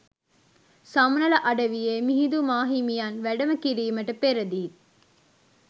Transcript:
සමනල අඩවියේ මිහිඳු මාහිමියන් වැඩම කිරීමට පෙරදීත්